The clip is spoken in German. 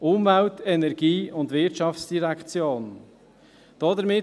Dieser würde «Umwelt-, Energie- und Wirtschaftsdirektion» lauten.